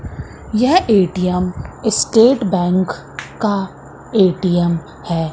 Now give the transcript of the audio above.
यह ATM State Bank का ATM है।